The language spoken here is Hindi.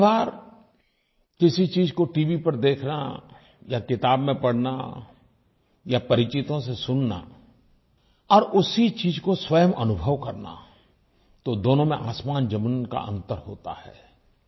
कभीकभार किसी चीज को टीवी पर देखना या किताब में पढ़ना या परिचितों से सुनना और उसी चीज़ को स्वयं अनुभव करना तो दोनों में आसमानज़मीन का अंतर होता है